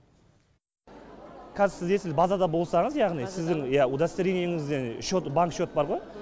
каз сіз сіз базада болсаңыз яғни сіздің иә удостоверениеңізде шот банк шот бар ма